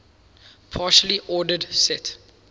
partially ordered set